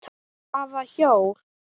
Hvaða hjól?